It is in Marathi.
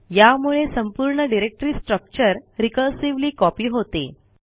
यामुळे संपूर्ण डिरेक्टरी स्ट्रक्चर रिकर्सिव्हली कॉपी होते